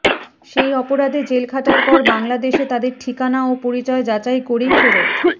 সেই অপরাধে জেল খাটার পর বাংলাদেশে তাদের ঠিকানা ও পরিচয় যাচাই করেই ফেরত